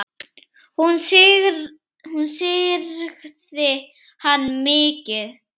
Hún syrgði hann mikið.